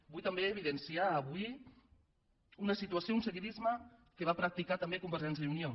vull també evidenciar avui una situació un seguidisme que va practicar també convergència i unió